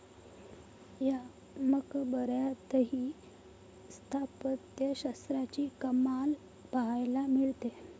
या मकबऱ्यातही स्थापत्यशास्त्राची कमाल पाहायला मिळते.